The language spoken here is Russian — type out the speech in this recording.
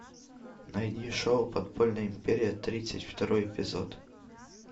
найди шоу подпольная империя тридцать второй эпизод